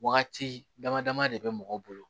Wagati dama dama de bɛ mɔgɔ bolo